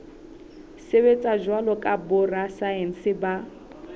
sebetsa jwalo ka borasaense ba